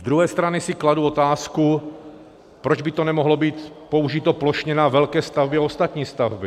Z druhé strany si kladu otázku, proč by to nemohlo být použito plošně na velké stavby a ostatní stavby.